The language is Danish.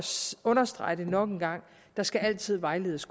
understrege det nok en gang der skal altid vejledes